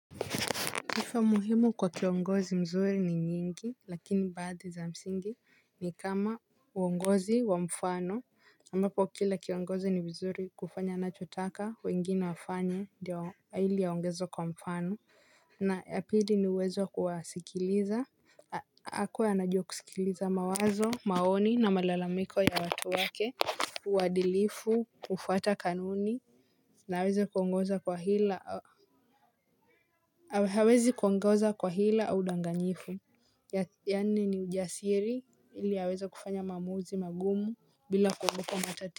Hifo muhimu kwa kiongozi mzuri ni nyingi, lakini baadhi za msingi ni kama uongozi wa mfano ambapo kila kiongozi ni vizuri kufanya anachotaka wengine wafanye ndio ili aongezwe kwa mfano. Na ya pili ni uwezo wa kuwasikiliza, akuwe anajua kusikiliza mawazo, maoni na malalamiko ya watu wake, uadilifu, kufuata kanuni. Na hawezi kuongoza kwa hila au udanganyifu. Ya nne ni ujasiri ili aweze kufanya maamuzi magumu bila kuogopa matati.